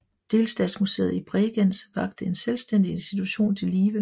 Delstatsmuseet i Bregenz vakte en selvstændig institution til live